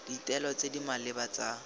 ditaelo tse di maleba tsa